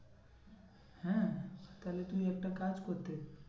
হ্যাঁ তাহলে তুই একটা কাজ করতে